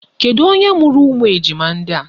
Kedu onye mụrụ ụmụ ejima ndị a?